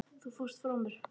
Þú fórst frá mér.